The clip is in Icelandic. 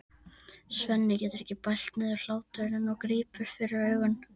Svenni getur ekki bælt niðri hláturinn og grípur fyrir augun.